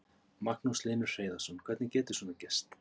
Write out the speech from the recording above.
Magnús Hlynur Hreiðarsson: Hvernig getur svona gerst?